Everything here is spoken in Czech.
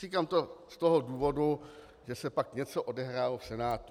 Říkám to z toho důvodu, že se pak něco odehrálo v Senátu.